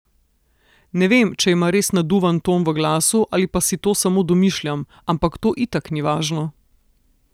Ne vem, če ima res naduvan ton v glasu ali pa si to samo domišljam, ampak to itak ni važno.